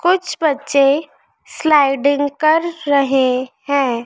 कुछ बच्चे स्लाइडिंग कर रहे हैं।